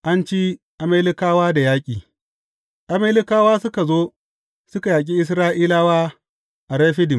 An ci Amalekawa da yaƙi Amalekawa suka zo, suka yaƙi Isra’ilawa a Refidim.